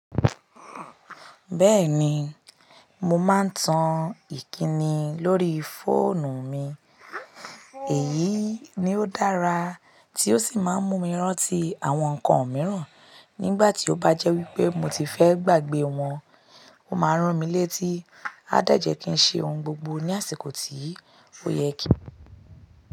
Bẹ́ẹ̀ni, mo máa ń tan ìkíni lórí fóònù mi. Èyí ni ó dára tí ó sì máa ń mú mi rántí àwọn nǹkan mìíràn nígbà tí ó bá jẹ́ wípé mo ti fẹ́ gbàgbé wọn. Ó máa ń ràn mí létí. A dẹ̀jẹ̀ kí n ṣe ohun gbogbo ní àsìkò tí ò yẹ kí.